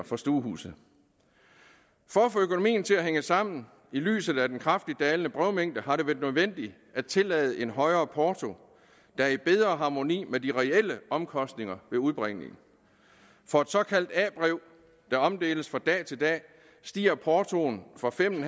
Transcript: fra stuehuset for at få økonomien til at hænge sammen i lyset af den kraftigt dalende brevmængde har det været nødvendigt at tillade en højere porto der er i bedre harmoni med de reelle omkostninger ved udbringningen for et såkaldt a brev der omdeles fra dag til dag stiger portoen fra fem